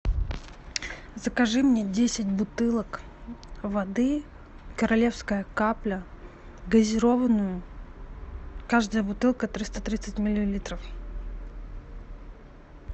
закажи мне десять бутылок воды королевская капля газированную каждая бутылка триста тридцать миллилитров